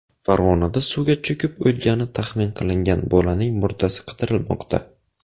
Farg‘onada suvga cho‘kib o‘lgani taxmin qilingan bolaning murdasi qidirilmoqda.